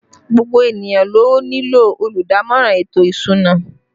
Gbogbo ènìyàn ló nílò olùdámọ̀ràn ètò ìsúná